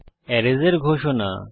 arrays এর ঘোষণা